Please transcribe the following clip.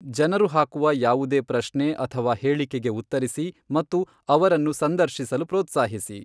ಜನರು ಹಾಕುವ ಯಾವುದೇ ಪ್ರಶ್ನೆ ಅಥವಾ ಹೇಳಿಕೆಗೆ ಉತ್ತರಿಸಿ ಮತ್ತು ಅವರನ್ನು ಸಂದರ್ಶಿಸಲು ಪ್ರೋತ್ಸಾಹಿಸಿ.